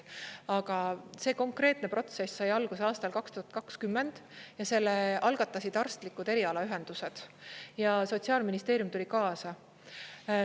Aga see konkreetne protsess sai alguse aastal 2020 ja selle algatasid arstlikud erialaühendused ja Sotsiaalministeerium tuli kaasa.